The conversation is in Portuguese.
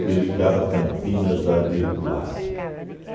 que ligava Campinas a Rio Claro?